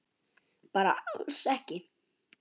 Bara alls ekki.